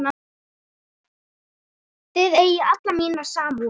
Þið eigið alla mína samúð.